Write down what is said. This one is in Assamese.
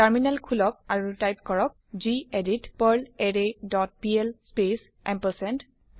টাৰ্মিনেল খোলক আৰু টাইপ কৰক গেদিত পাৰ্লাৰৰে ডট পিএল স্পেচ এম্পাৰচেণ্ড